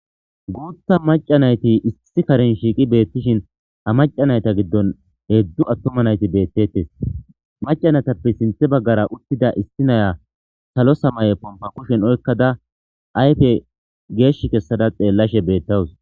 guutha maca nayti issi karen shiiqi beettishin ha maca nayta giddon heedzdzu attoma nayti beettettes macanatappe sinthe baggara uttida issi naya salo samaye pompa kushen oykkada ayfe geesh kessada xeellashe beettawus